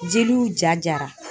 Jeliw ja jara